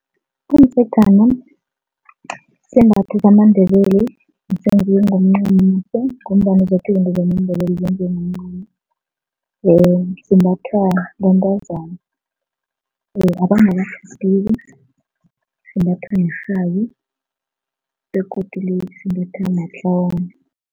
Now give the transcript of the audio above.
Umdzegana sisembatho samaNdebele esenziwe ngomncamo ngombana zoke izinto zamaNdebele zenziwe ngomncamo simbathwa bentazana or imbathwa nerhabi begodu limbathwa matlawana.